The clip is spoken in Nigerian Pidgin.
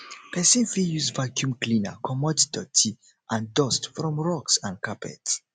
person fit use vacuum cleaner comot doty and dust from rugs and carpets